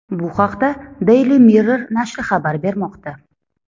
Bu haqda Daily Mirror nashri xabar bermoqda .